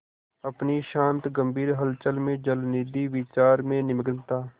अपनी शांत गंभीर हलचल में जलनिधि विचार में निमग्न था